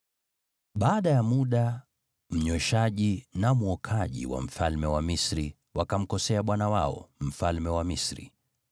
Baada ya muda, mnyweshaji na mwokaji wa mfalme wa Misri, wakamkosea bwana wao, mfalme wa Misri.